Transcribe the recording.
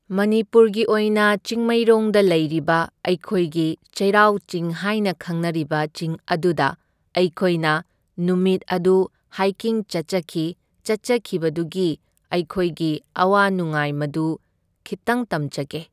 ꯃꯅꯤꯄꯨꯔꯒꯤ ꯑꯣꯏꯅ ꯆꯤꯡꯃꯩꯔꯣꯡꯗ ꯂꯩꯔꯤꯕ ꯑꯩꯈꯣꯏꯒꯤ ꯆꯩꯔꯥꯎꯆꯤꯡ ꯍꯥꯏꯅ ꯈꯪꯅꯔꯤꯕ ꯆꯤꯡ ꯑꯗꯨꯗ ꯑꯩꯈꯣꯏꯅ ꯅꯨꯄꯤꯠ ꯑꯗꯨ ꯍꯥꯏꯀꯤꯡ ꯆꯠꯆꯈꯤ, ꯆꯠꯆꯈꯤꯕꯗꯨꯒꯤ ꯑꯩꯈꯣꯏꯒꯤ ꯑꯋꯥ ꯅꯨꯡꯉꯥꯏ ꯃꯗꯨ ꯈꯤꯛꯇꯪ ꯇꯝꯖꯒꯦ꯫